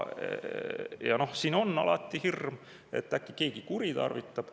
Ja noh, siin on alati hirm, et äkki keegi kuritarvitab.